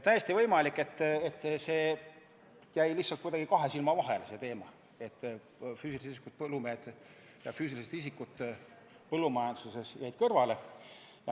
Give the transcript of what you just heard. Täiesti võimalik, et see teema jäi lihtsalt kuidagi kahe silma vahele, et füüsilisest isikust ettevõtjad ja füüsilised isikud põllumajanduses jäid kõrvale.